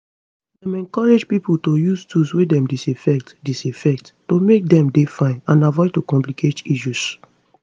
dem encourage pipo to use tools wey dem disinfect disinfect to make dem dey fine and avoid to complicate issues